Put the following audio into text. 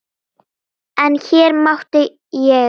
En hér mátti ég til.